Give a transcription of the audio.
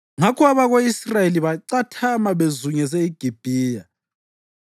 Ngakho abako-Israyeli bacathama bezungeze iGibhiya.